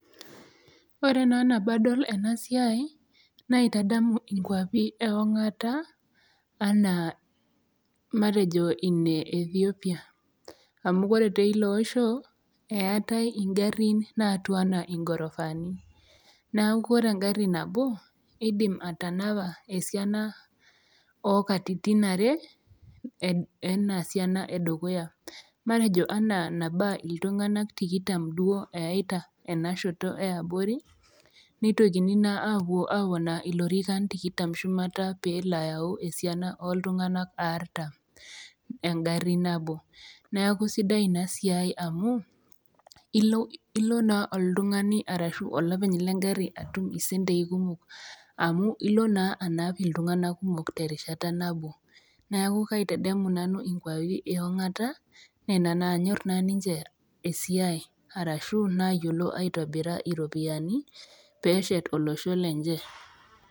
Ore naa nabo adol ena siai naitadamu inkwapi e ong'ata anaa matejo ine Ethiopia, amu ore tee iloosho, eatai ingarin naatiu anaa ingorofaani, neaku ore engarri nabo, eidim atanapa esiana oo katitin are eina siana e dukuya, matejo ana nabaa oltung'anak tikitam duo eyaita ena shoto e abori, neitokini naa apuo aponaa ilorrikan tikitam shumata pee elo ayau esiana o iltung'ana aartam engari nabo. Neaku sidai Ina siai amu, ilo naa oltung'ani arashu olopeny le engari atum isentei kumok amu ilo naa anap iltung'ana kumok te erishatanabo. Neaku kaitadamu nanu inkwapi e ong'ata Nena naanyor naa ninche esiai arashu nayiolo aitobira iropiani, peeshet olosho lenye.